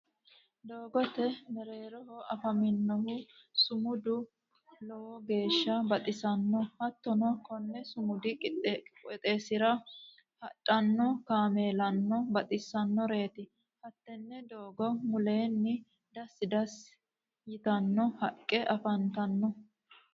doogote mereereho afamanohu sumudi lowogeesha baxisanno hatonno konni sumudi qoxeesira hadhano kameelano baxisanoreeti hattenne doogo muleno dasi dasi hitanno haqe afanitanno.